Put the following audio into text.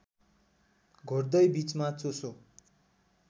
घोट्दै बीचमा चोसो